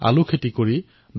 কিন্তু প্ৰথমে লোকচানেই হৈছিল